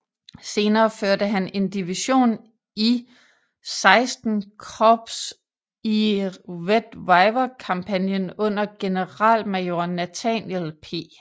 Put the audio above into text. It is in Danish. Senere førte han en division i XVI Korps ie Red River Kampagnen under generalmajor Nathaniel P